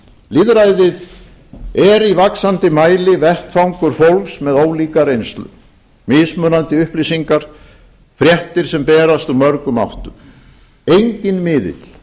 lýðræðið er í vaxandi mæli vettvangur fólks með ólíka reynslu mismunandi upplýsingar fréttir sem berast úr mörgum áttum enginn miðill